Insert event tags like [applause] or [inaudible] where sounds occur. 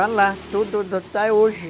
[unintelligible] hoje